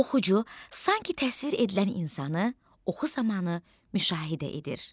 Oxucu sanki təsvir edilən insanı oxu zamanı müşahidə edir.